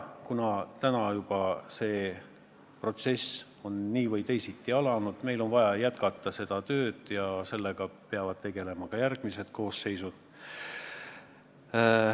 Kuna see protsess on juba nii või teisiti alanud, siis on meil vaja jätkata seda tööd ja sellega peavad tegelema ka järgmised koosseisud.